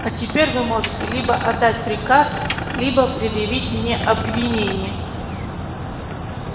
а теперь вы можете либо отдать приказ либо предъявить мне обвинение